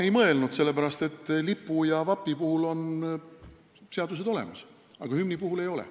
Ei mõelnud, sellepärast et lipu ja vapi puhul on seadused olemas, aga hümni puhul ei ole.